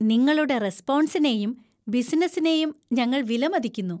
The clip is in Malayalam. നിങ്ങളുടെ റെസ്പോൺസിനെയും ബിസിനസ്സിനെയും ഞങ്ങൾ വിലമതിക്കുന്നു.